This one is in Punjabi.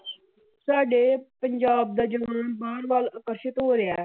ਸਾਡੇ ਪੰਜਾਬ ਦਾ ਜਨੂਨ ਬਾਹਰ ਵੱਲ ਅਕਰਸ਼ਿੱਤ ਹੋ ਰਿਹਾ ਹੈ।